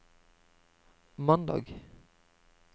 mandag